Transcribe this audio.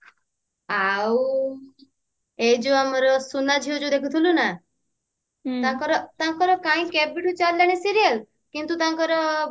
ଆଉ ଏଇ ଯଉ ଆମର ସୁନାଝିଅ ଯଉ ଦେଖୁଥିଲୁ ନା ତାଙ୍କର ତାଙ୍କର କାଇଁ କେବେଠୁ ଚାଲିଲାଣି serial କିନ୍ତୁ ତାଙ୍କର